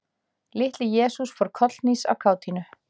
Litli-Jesús fór kollhnís af kátínu.